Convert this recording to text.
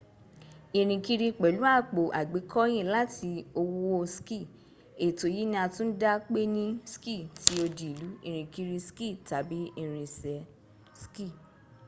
irinkiri pelu apo agbekoyin lati owo ski eto yi ni a tun da pe ni ski ti odi ilu irinkiri ski tabi irinse ski